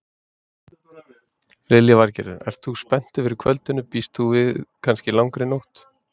Lillý Valgerður: Ert þú spenntur fyrir kvöldinu, býst þú við kannski langri nótt?